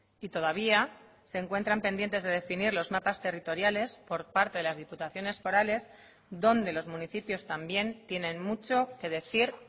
y todavía se encuentran pendientes de definir los mapas territoriales por parte de las diputaciones forales donde los municipios también tienen mucho que decir